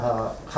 Bəli, hə.